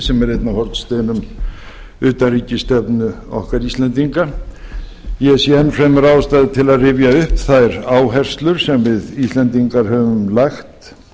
sem er einn af hornsteinum utanríkisstefnu okkar íslendinga ég sé enn fremur ástæðu til að rifja upp þær áherslur sem við íslendingar höfum lagt